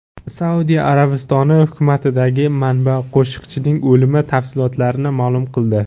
Saudiya Arabistoni hukumatidagi manba Qoshiqchining o‘limi tafsilotlarini ma’lum qildi.